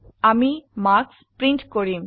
আমি marks print কৰিম